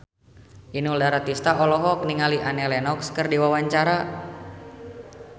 Inul Daratista olohok ningali Annie Lenox keur diwawancara